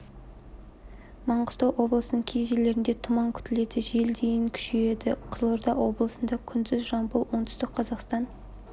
маңғыстау облысының кей жерлерінде тұман күтіледі жел дейін күшейеді қызылорда облысында күндіз жамбыл оңтүстік қазақстан